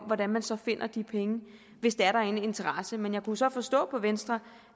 hvordan man så finder de penge hvis der er en interesse men jeg kunne så forstå på venstre